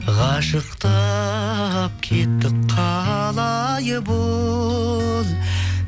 қашықтап кеттік қалай бұл